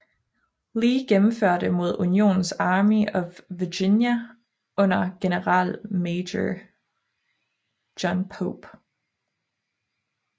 Lee gennemførte mod Unionens Army of Virginia under generalmajor John Pope